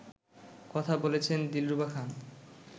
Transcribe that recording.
কথা বলেছেন দিলরুবা খান